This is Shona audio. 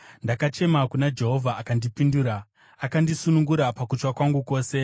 Ndakachema kuna Jehovha akandipindura; akandisunungura pakutya kwangu kwose.